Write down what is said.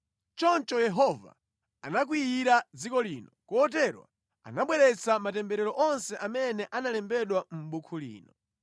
Choncho Yehova anakwiyira dziko lino, kotero anabweretsa matemberero onse amene analembedwa mʼbuku lino.